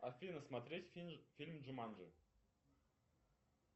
афина смотреть фильм джуманджи